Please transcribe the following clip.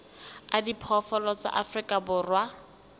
a diphoofolo tsa afrika borwa